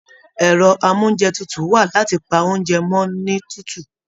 Ẹrọ amounjẹ tútù wa láti pá oúnjẹ mọ ni tútù.